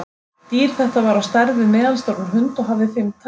Dýr þetta var á stærð við meðalstóran hund og hafði fimm tær.